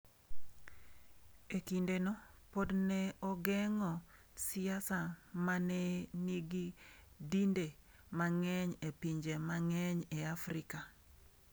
E kindeno, pod ne ogeng’o siasa ma ne nigi dinde mang’eny e pinje mang’eny e Afrika.